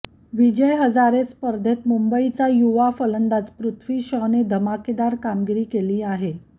विजय हजारे स्पर्धेत मुंबईचा युवा फलंदाज पृथ्वी शॉने धमाकेदार कामगिरी केली आहे